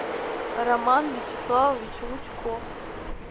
роман вячеславович лучков